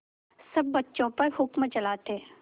सब बच्चों पर हुक्म चलाते